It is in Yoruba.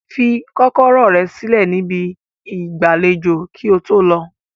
Fi kọkọrọ rẹ silẹ ni ibi igbalejo ki oto lọ!